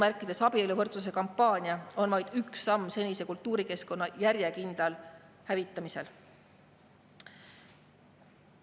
Senine "abieluvõrdsuse" kampaania on vaid üks samm senise kultuurikeskkonna järjekindlal hävitamisel.